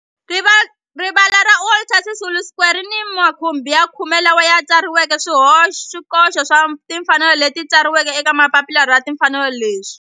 Rivala ra Walter Sisulu Square ri ni makhumbi ya khume lawa ma tsariweke swikoxo swa timfanelo leswi tsariweke eka papila ra timfanelo leswi.